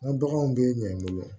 N ka baganw bɛ ɲɛ n bolo